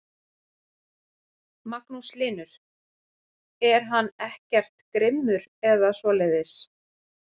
Magnús Hlynur: Er hann ekkert grimmur eða svoleiðis?